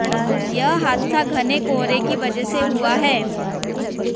यह हादसा घने कोहरे की वजह से हुआ है